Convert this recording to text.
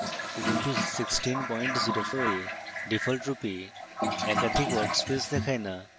ubuntu 1604 এ ডিফল্টরূপে একাধিক workspace দেখায় in